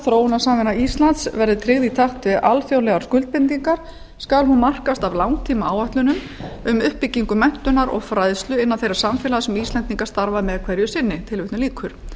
þróunarsamvinna íslands verður tryggð í takt við alþjóðlegar skuldbindingar skal hún markast af langtíma áætlunum um uppbyggingu menntunar og fræðslu innan þeirra samfélaga sem íslendingar starfa með hverju sinni tilvitnun lýkur